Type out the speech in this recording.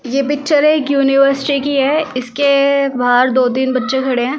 ये पिक्चर एक यूनिवर्सिटी की है इसके बाहर दो-तीन बच्चे खड़े हैं ।